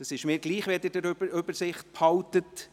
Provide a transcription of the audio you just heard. Das ist mir gleich, solange Sie die Übersicht behalten.